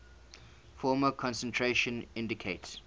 formal concentration indicates